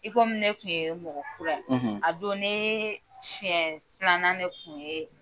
I komi ne tun ye mɔgɔ kura ye; ; A don neee siɲɛ filanan de kun ye